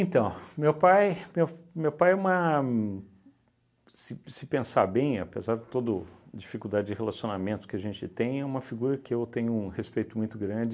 meu pai meu meu pai é uma... se se pensar bem, apesar de todo dificuldade de relacionamento que a gente tem, é uma figura que eu tenho um respeito muito grande